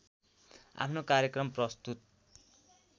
आफ्नो कर्यक्रम प्रस्तुत